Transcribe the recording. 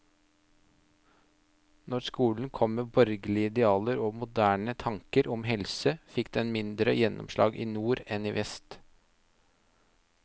Når skolen kom med borgerlige idealer og moderne tanker om helse, fikk den mindre gjennomslag i nord enn i vest.